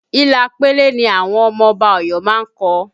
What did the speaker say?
Ila pele ni àwọn ọmọ Ọba Ọ̀yọ́ má ń kọ